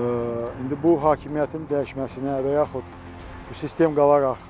İndi bu hakimiyyətin dəyişməsinə və yaxud sistem qalaraq